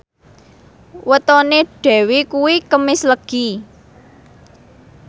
wetone Dewi kuwi Kemis Legi